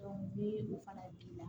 ni o fana b'i la